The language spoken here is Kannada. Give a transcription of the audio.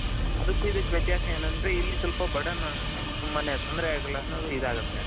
ಅದುಕು ಇದುಕು ವ್ಯತ್ಯಾಸ ಏನಂದ್ರೆ ಇಲ್ಲಿ ಸ್ವಲ್ಪ burden ತೊಂದರೆ ಇದಗುತ್ತೆ .